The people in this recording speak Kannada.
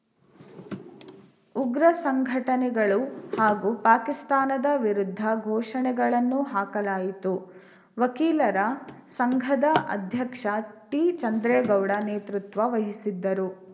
ಉಗ್ರ ಸಂಘಟನೆಗಳು ಹಾಗೂ ಪಾಕಿಸ್ತಾನದ ವಿರುದ್ಧ ಘೋಷಣೆಗಳನ್ನು ಹಾಕಲಾಯಿತು ವಕೀಲರ ಸಂಘದ ಅಧ್ಯಕ್ಷ ಟಿ ಚಂದ್ರೇಗೌಡ ನೇತೃತ್ವ ವಹಿಸಿದ್ದರು